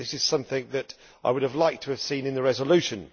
this is something that I would have liked to have seen in the resolution.